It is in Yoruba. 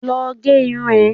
Lọ gé irun ẹ!